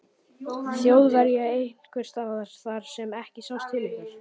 Þjóðverja einhvers staðar þar sem ekki sást til ykkar?